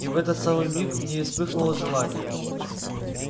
и в этот самый миг в ней вспыхнуло желание